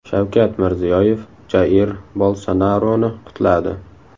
Shavkat Mirziyoyev Jair Bolsonaroni qutladi.